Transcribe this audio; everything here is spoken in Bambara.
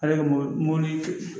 Ale ka mobili mɔbili